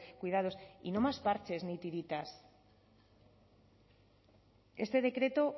cuidados y no más parches ni tiritas este decreto